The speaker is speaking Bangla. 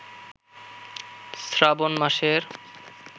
শ্রাবণ মাসের